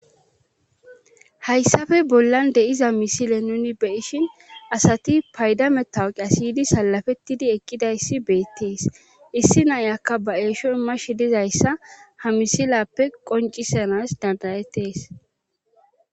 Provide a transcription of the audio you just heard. Hayssafe bollan deiza misile nuni beyishin asati paydametawqi asiydi salafettidi ekkidayssi beettees issi nayakka baeesho imash dizayssa hamisilappe qoncisanas dandayettees.